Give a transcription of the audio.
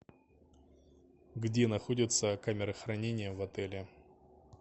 где находится камера хранения в отеле